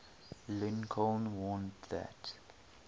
lincoln warned that